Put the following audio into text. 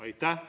Aitäh!